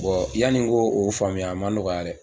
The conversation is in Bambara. yanni ko o faamuya a ma nɔgɔya dɛ.